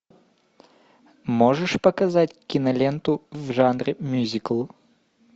можешь показать киноленту в жанре мюзикл